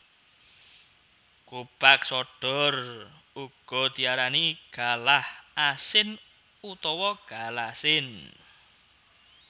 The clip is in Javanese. Gobag sodor uga diarani galah asin utawa galasin